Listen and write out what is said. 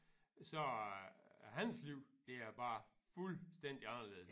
Så er hans liv det er bare fuldstændig anderledes